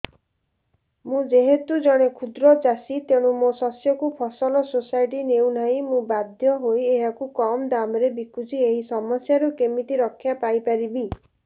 ମୁଁ ଯେହେତୁ ଜଣେ କ୍ଷୁଦ୍ର ଚାଷୀ ତେଣୁ ମୋ ଶସ୍ୟକୁ ଫସଲ ସୋସାଇଟି ନେଉ ନାହିଁ ମୁ ବାଧ୍ୟ ହୋଇ ଏହାକୁ କମ୍ ଦାମ୍ ରେ ବିକୁଛି ଏହି ସମସ୍ୟାରୁ କେମିତି ରକ୍ଷାପାଇ ପାରିବି